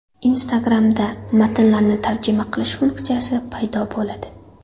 Instagram’da matnlarni tarjima qilish funksiyasi paydo bo‘ladi.